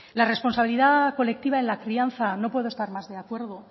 la responsabilidad colectiva en la crianza no puedo estar más de acuerdo